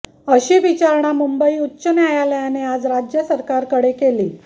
अशी विचारणा मुंबई उच्च न्यायालयाने आज राज्य सरकारकडे केली